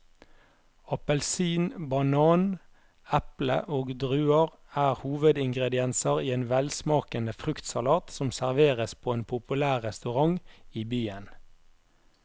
Appelsin, banan, eple og druer er hovedingredienser i en velsmakende fruktsalat som serveres på en populær restaurant i byen.